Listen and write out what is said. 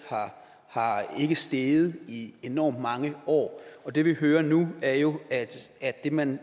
er ikke steget i enormt mange år og det vi hører nu er jo at det man